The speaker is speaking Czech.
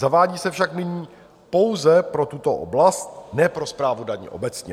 Zavádí se však nyní pouze pro tuto oblast, ne pro správu daní obecně.